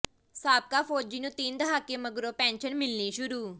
ਸਾਬਕਾ ਫੌਜੀ ਨੂੰ ਤਿੰਨ ਦਹਾਕੇ ਮਗਰੋਂ ਪੈਨਸ਼ਨ ਮਿਲਣੀ ਸ਼ੁਰੂ